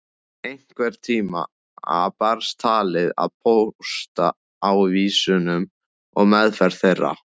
Einhvern tíma barst talið að póstávísunum og meðferð þeirra.